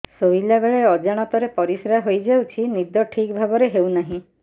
ଶୋଇଲା ବେଳେ ଅଜାଣତରେ ପରିସ୍ରା ହୋଇଯାଉଛି ନିଦ ଠିକ ଭାବରେ ହେଉ ନାହିଁ